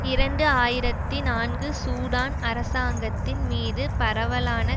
இரண்டு ஆயிரத்தி நான்கு சூடான் அரசாங்கத்தின் மீது பரவலான